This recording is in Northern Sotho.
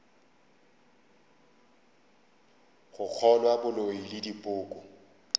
go kgolwa boloi le dipoko